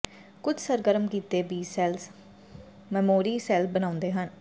ਕੁਝ ਸਰਗਰਮ ਕੀਤੇ ਬੀ ਸੈੱਲ ਮੈਮੋਰੀ ਸੈੱਲ ਬਣਾਉਂਦੇ ਹਨ